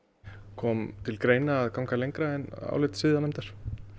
kom til greina að ganga lengra en álit siðanefndar